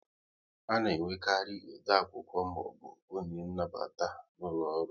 A na enwekarị ode akwụkwọ maọbụ onye nnabata n'ụlọ ọrụ